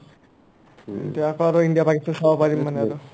ইয়াৰ পৰা ইণ্ডিয়া আৰু পাকিস্তান চাব পাৰিম মানে আৰু